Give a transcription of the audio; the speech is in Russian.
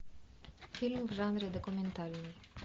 фильм в жанре документальный